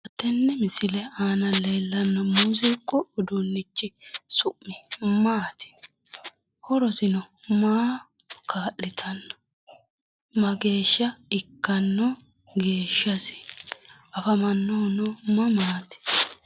tenne misile aana leellano muziiqu uduunnichi su'mi maati horosino maa kaa'litano mageeshsha ikkanno geeshshasi afamannohuno mamaati?